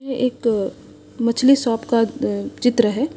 ये एक मछली शॉप का चित्र है।